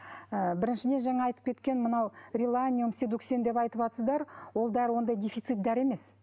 ы біріншіден жаңа айтып кеткен мынау реланиум сидуксин деп айтыватсыздар ол дәрі ондай дефицит дәрі емес